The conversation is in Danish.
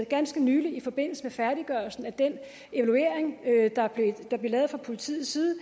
ganske nylig i forbindelse med færdiggørelsen af den evaluering der blev lavet fra politiets side og